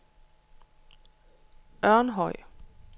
Ørnhøj